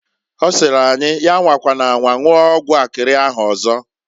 Ọ sịrị anyi, ya anwakwana anwa nwụọ ọgwụ akịrị ahụ ọzọ.